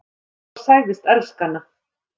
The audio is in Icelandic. Ef hann bara segðist elska hana: